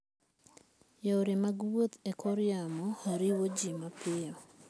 Yore mag wuoth e kor yamo riwo ji mapiyo.